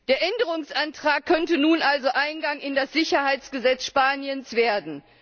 Der Änderungsantrag könnte nun also Eingang in das Sicherheitsgesetz Spaniens finden.